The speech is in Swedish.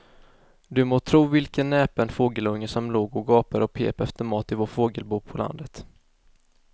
Du må tro vilken näpen fågelunge som låg och gapade och pep efter mat i vårt fågelbo på landet.